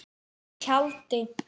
Í tjaldi.